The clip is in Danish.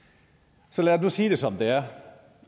så lad os nu sige det som det er